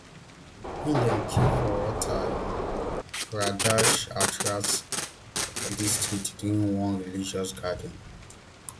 im dem kill for uttar um pradesh hathras district during one religious gathering